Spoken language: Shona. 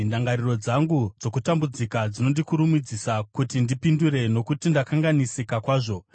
“Ndangariro dzangu dzokutambudzika dzinondikurumidzisa kuti ndipindure nokuti ndakanganisika kwazvo.